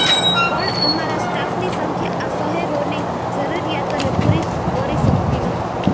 પણ અમારા સ્ટાફની સંખ્યા આ શહેરોની જરૂરિયાતોને પૂરી કરી શકતી નથી